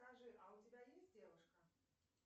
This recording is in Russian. скажи а у тебя есть девушка